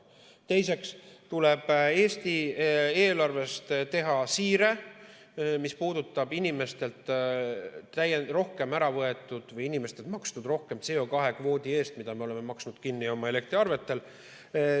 Teiseks tuleb Eesti eelarvest teha siire, mis puudutab raha, mis on inimestelt rohkem ära võetud või mida inimesed on maksnud rohkem CO2 kvoodi eest, makstes selle kinni oma elektriarvetega.